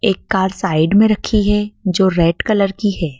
एक car side में रखी है जो रेड कलर की है।